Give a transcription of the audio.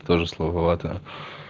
тоже слово вода